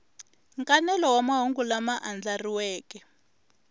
nkanelo wa mahungu lama andlariweke